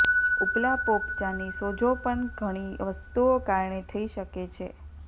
ઉપલા પોપચાંની સોજો પણ ઘણી વસ્તુઓ કારણે થઈ શકે છે